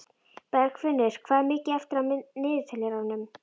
Bergfinnur, hvað er mikið eftir af niðurteljaranum?